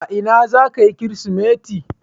A ina zaka yi kirismeti?